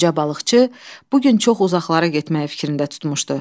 Qoca balıqçı bu gün çox uzaqlara getməyi fikrində tutmuşdu.